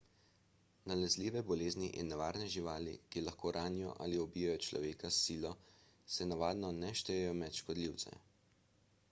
nalezljive bolezni in nevarne živali ki lahko ranijo ali ubijejo človeka s silo se navadno ne štejejo med škodljivce